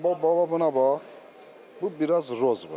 Amma bax buna bax, bu biraz rozvodur.